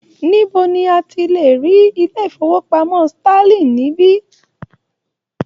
Níbo ni a ti lè rí ilé-ìfowópamọ́ Sterling níbí?